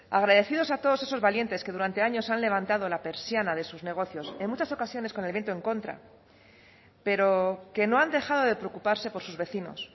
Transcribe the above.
agradecidos a todos esos valientes que durante años han levantado la persiana de sus negocios en muchas ocasiones con el viento en contra pero que no han dejado de preocuparse por sus vecinos